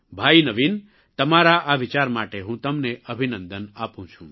ભાઇ નવીન તમારા આ વિચાર માટે હું તમને અભિનંદન આપું છું